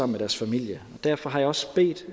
med deres familie derfor har jeg også bedt